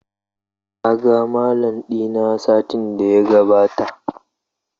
Ka ga Mallam dina satin da ya gabata?